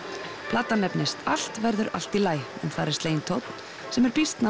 platan nefnist allt verður allt í lagi en þar er sleginn tónn sem er býsna